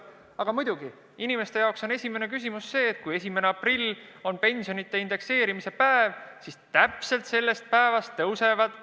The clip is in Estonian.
Aga muidugi, inimeste jaoks on esimene küsimus see, et kui 1. aprill on pensionide indekseerimise päev, siis täpselt sellest päevast on tõusnud tasu hooldekodukohtade eest.